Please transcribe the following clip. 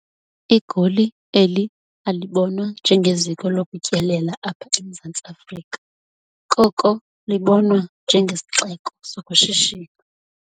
Igoli eli alibonwa njengeziko lokutyelela apha eMzantsi Afrika, koko libonwa njengesixeko sokushishina.